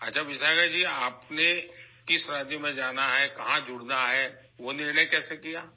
ٹھیک ہے وشاکھا جی، آپ کو کس ریاست میں جانا ہے، کہاں جانا ہے؟ آپ نے یہ فیصلہ کیسے کیا؟